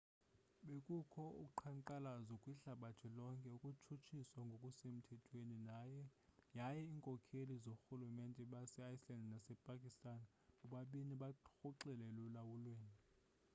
bekukho uqhankqalazo kwihlabathi lonke ukutshutshiswa ngokusemthethweni yaye iinkokheli zoorhulumente base-iceland nasepakistan bobabini barhoxile elulawulweni